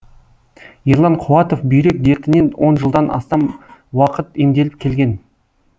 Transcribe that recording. ерлан қуатов бүйрек дертінен он жылдан астам уақыт емделіп келген